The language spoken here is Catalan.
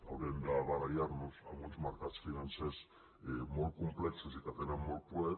haurem de barallar nos amb uns mercats financers molt complexos i que tenen molt poder